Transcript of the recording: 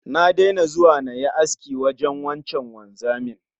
Na daina zuwa yin aski wajen wancan wanzamin